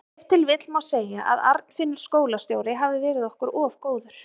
Ef til vill má segja að Arnfinnur skólastjóri hafi verið okkur of góður.